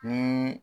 Ni